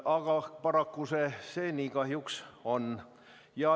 Aga nii see paraku on.